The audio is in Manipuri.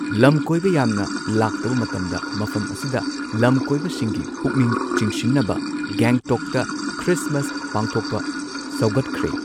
ꯂꯝꯀꯣꯏꯕ ꯌꯥꯝꯅ ꯂꯥꯛꯇꯕ ꯃꯇꯝꯗ ꯃꯐꯝ ꯑꯁꯤꯗ ꯂꯝꯀꯣꯏꯕꯁꯤꯡꯒꯤ ꯄꯨꯛꯅꯤꯡ ꯆꯤꯡꯁꯤꯟꯅꯕ ꯒꯦꯡꯇꯣꯛꯇ ꯈ꯭ꯔꯤꯁꯠꯃꯁ ꯄꯥꯡꯊꯣꯛꯄ ꯁꯧꯒꯠꯈ꯭ꯔꯦ꯫